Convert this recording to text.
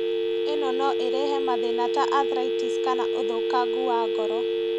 ĩno no ĩrehe mathĩna ta arthritis kana ũthũkangu wa ngoro